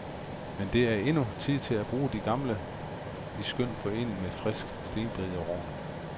Men det er endnu tid til at bruge de gamle i skøn forening med frisk stenbiderrogn.